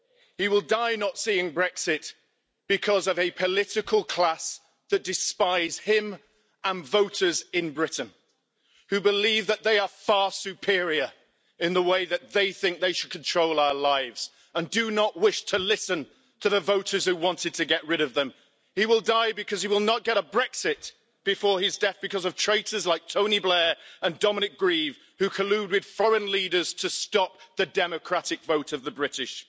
He will die not seeing Brexit because of a political class that despise him and voters in Britain, a class who believe that they are far superior in the way that they think they should control our lives and do not wish to listen to the voters who wanted to get rid of them. He will die because he will not get a Brexit before his death because of traitors like Tony Blair and Dominic Grieve who collude with foreign leaders to stop the democratic vote of the British.